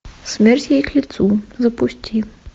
смерть ей к лицу запусти